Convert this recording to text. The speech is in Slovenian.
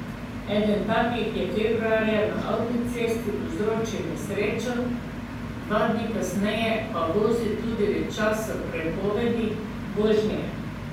Eden takih je februarja na avtocesti povzročil nesrečo, dva dni kasneje pa vozil tudi v času prepovedi vožnje.